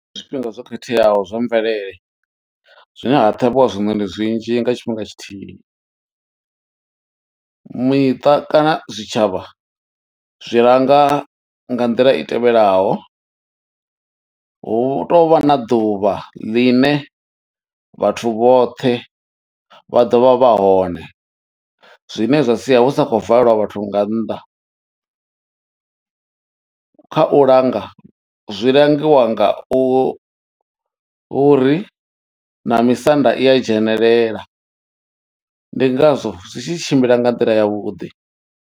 Zwifhinga zwo khetheaho zwa mvelele zwine ha ṱhavhiwa zwiṋoni zwinzhi nga tshifhinga tshithihi. Miṱa kana zwitshavha zwi langa nga nḓila i tevhelaho hu tovha na ḓuvha ḽine vhathu vhoṱhe vha ḓovha vha hone zwine zwa sia hu sa khou valwa vhathu nga nnḓa, kha u langa zwi langiwa nga u hu uri na misanda i a dzhenelela ndi ngazwo zwi tshi tshimbila nga nḓila ya vhuḓi.